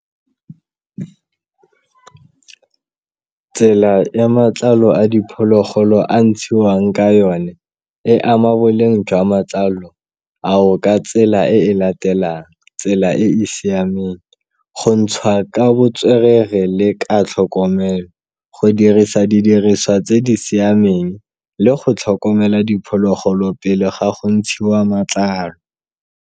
Tsela ya matlalo a diphologolo a ntshiwang ka yone e ama boleng jwa matlalo ao ka tsela e e latelang tsela e e siameng, go ntshiwa ka botswerere le ka tlhokomelo, go dirisa didiriswa tse di siameng, le go tlhokomela diphologolo pele ga go ntshiwa matlalo.